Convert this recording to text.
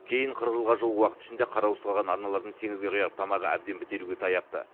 кейін қырық жылға жуық уақыт ішінде қараусыз қалған арналардың теңізге құяр тамағы әбден бітелуге таяпты